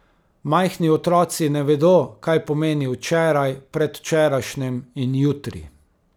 Majhni otroci ne vedo, kaj pomeni včeraj, predvčerajšnjim in jutri.